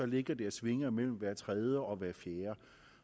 ligger det og svinger mellem hver tredje og hver fjerde